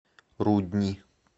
рудни